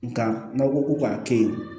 Nka n'aw ko ko k'a to yen